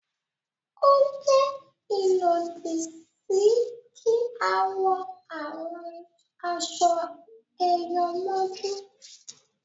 o jé ilodi sí kí a wọ àwọn aṣọ eyọ mójú